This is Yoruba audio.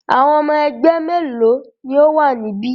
Àwọn ọmọ ẹgbẹ́ mélòó ni ó wà níbí?